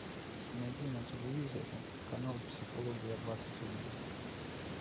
найди на телевизоре канал психология двадцать один